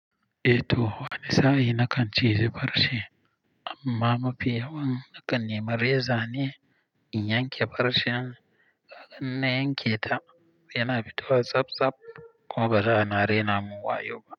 Eh to, wani sa'i na kan ciji farce amma mafi yawan na kan nemi reza ne in yanke farcen. Ga in na yanke ta yana fito a tsab tsab kuma bara na rena mun wayo.